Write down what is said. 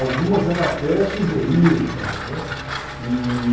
Algumas ela até sugeriu e tal, né? E...